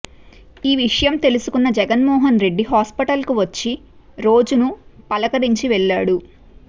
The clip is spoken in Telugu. ఈ విషయం తెలుసుకున్న జగన్ మోహన్ రెడ్డి హాస్పటల్ కు వచ్చి రోజు ను పలకరించి వెళ్ళాడు